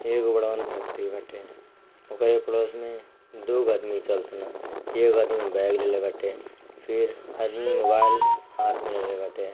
एक godown factory बटे ऑगरो पड़ोस मे दो आदमी चल तना एक आदमी बेग लेला बटे फिर मोबाईल हाथ मे लेले बटे।